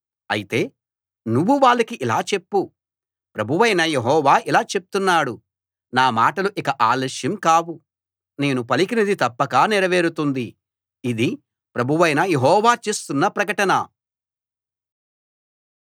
అయితే నువ్వు వాళ్ళకి ఇలా చెప్పు ప్రభువైన యెహోవా ఇలా చెప్తున్నాడు నా మాటలు ఇక ఆలస్యం కావు నేను పలికినది తప్పక నెరవేరుతుంది ఇది ప్రభువైన యెహోవా చేస్తున్న ప్రకటన